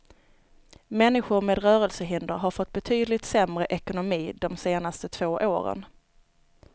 Människor med rörelsehinder har fått betydligt sämre ekonomi de senaste två åren.